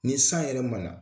Ni san yɛrɛ ma na